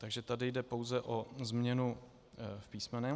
Takže tady jde pouze o změnu v písmenu.